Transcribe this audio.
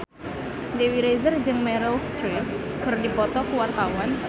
Dewi Rezer jeung Meryl Streep keur dipoto ku wartawan